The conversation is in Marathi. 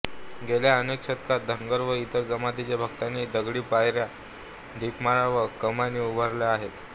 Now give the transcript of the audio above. गेल्या अनेक शतकात धनगर व इतर जमातींच्या भक्तांनी दगडी पायऱ्या दीपमाळा व कमानी उभारल्या आहेत